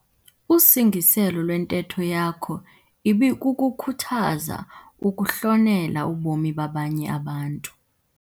Usingiselo lwentetho yakho ibikukukhuthaza ukuhlonela ubomi babanye abantu.